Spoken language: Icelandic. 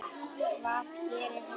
Hvað gerir hún?